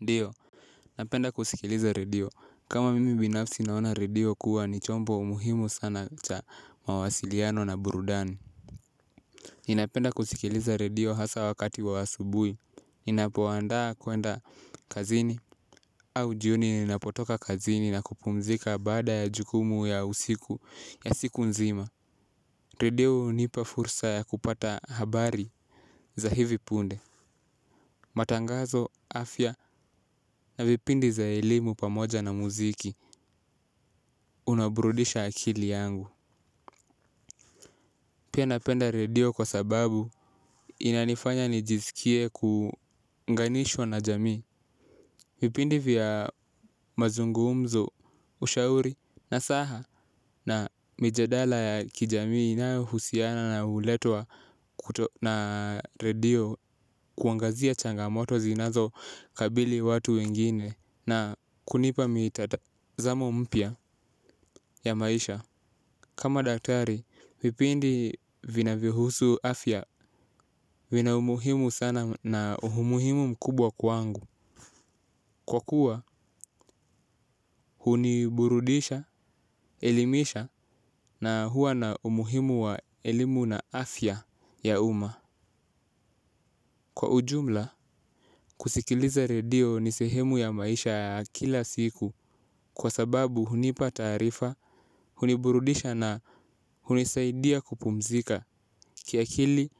Ndiyo, napenda kusikiliza redio. Kama mimi binafsi naona redio kuwa ni chombo umuhimu sana cha mawasiliano na burudani. Ninapenda kusikiliza redio hasa wakati wa asubuhi. Ninapoandaa kwenda kazini au jioni ninapotoka kazini na kupumzika baada ya jukumu ya usiku ya siku nzima. Redio hunipa fursa ya kupata habari za hivi punde. Matangazo, afya na vipindi za elimu pamoja na muziki unabrudisha akili yangu. Pia napenda redio kwa sababu inanifanya nijisikie kuunganishwa na jamii. Vipindi vya mazungumzo ushauri nasaha na mijadala ya kijamii inayohusiana nayo huletwa na redio. Kuangazia changamoto zinazowakabili watu wengine na kunipa mitata zamo mpya ya maisha. Kama daktari, vipindi vinavyohusu afya vina umuhimu sana na umuhimu mkubwa kwangu. Kwa kuwa, huniburudisha, elimisha na huwa na umuhimu wa elimu na afya ya umma. Kwa ujumla, kusikiliza redio ni sehemu ya maisha kila siku kwa sababu hunipata taarifa, huniburudisha na hunisaidia kupumzika. Kiakili,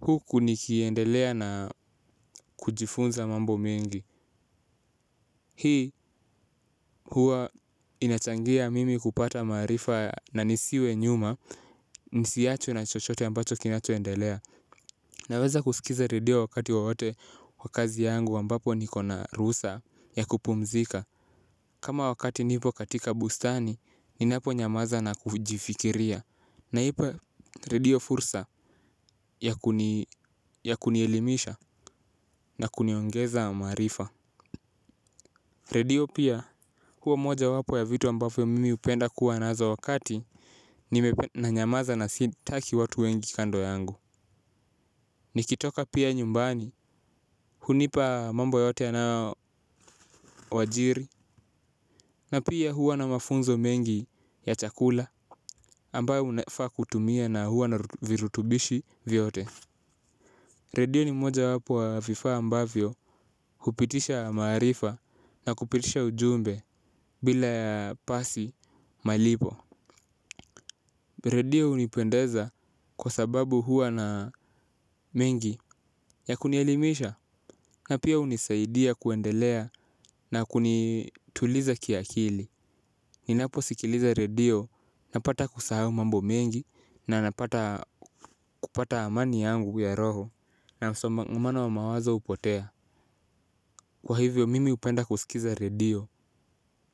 huku ni kiendelea na kujifunza mambo mengi. Hii huwa inachangia mimi kupata maarifa na nisiwe nyuma, nisiachwe na chochote ambacho kinachoendelea. Naweza kusikiliza redio wakati wowote wa kazi yangu ambapo niko na ruhusa ya kupumzika. Kama wakati nipo katika bustani ninaponyamaza na kujifikiria. Naipa redio fursa ya kunielimisha na kuniongeza maarifa. Redio pia huwa moja wapo ya vitu ambavyo mimi hupenda kuwa nazo wakati nanyamaza na sitaki watu wengi kando yangu. Nikitoka pia nyumbani hunipa mambo yote yanayowajiri. Na pia huwa na mafunzo mengi ya chakula ambayo unafaa kutumia na huwa na virutubishi vyote. Redio ni mojawapo ya vifaa ambavyo kupitisha maarifa na kupitisha ujumbe bila pasi malipo. Redio hunipendeza kwa sababu huwa na mengi ya kunielimisha. Na pia hunisaidia kuendelea na kunituliza kiakili. Ninapo sikiliza redio napata kusahau mambo mengi na napata kupata amani yangu ya roho. Na msongamano wa mawazo hupotea. Kwa hivyo mimi hupenda kusikiza redio.